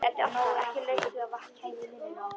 Ekki laust við að vatn kæmi í munninn á okkur.